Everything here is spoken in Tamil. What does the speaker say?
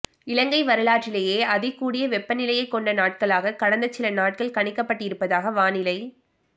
இலங்கை வரலாற்றிலேயே அதிகூடிய வெப்பநிலையைக் கொண்ட நாட்களாக கடந்த சில நாட்கள் கணிக்கப்பட்டிருப்பதாக வானிலை